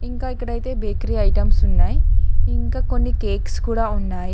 ఇంకా ఇక్కడైతే bakery items ఉన్నాయి ఇంకా కొన్ని కేక్స్ కూడా ఉన్నాయి.